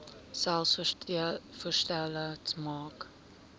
selfs voorstelle maak